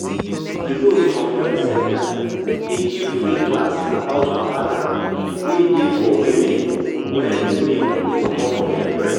you know some health center dey give free class about wahala wey dey for women wen milk dey comot from their breast.